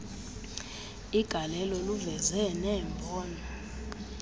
igalelo luveze neembono